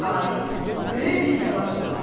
Arif böyük bir təlaşla.